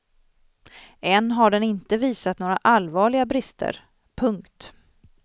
Än har den inte visat några allvarliga brister. punkt